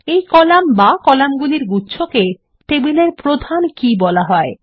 এই কলাম বা কলাম্গুলির গুচ্ছকে টেবিলের প্রধান কী বলা হয়